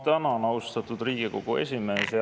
Ma tänan, austatud Riigikogu esimees!